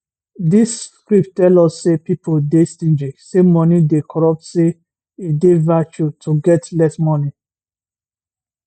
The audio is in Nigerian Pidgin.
dis script tell us say pipo dey stingy say money dey corruptsay e dey virtue to get less money